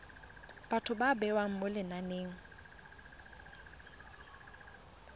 batho ba bewa mo lenaneng